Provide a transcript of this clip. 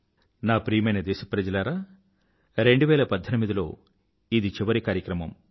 నా ప్రియమైన దేశ ప్రజలారా 2018లో ఇది చివరి కార్యక్రమం